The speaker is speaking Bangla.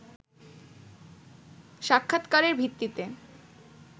সাক্ষাৎকারের ভিত্তিতে